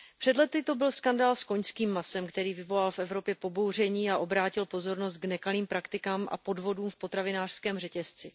Před lety to byl skandál s koňským masem, který vyvolal v Evropě pobouření a obrátil pozornost k nekalým praktikám a podvodům v potravinářském řetězci.